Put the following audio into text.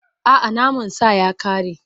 A'a, naman sa ya ƙare.